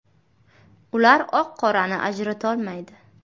Ular oq-qorani ajratolmaydi.